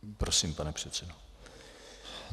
Prosím, pane předsedo.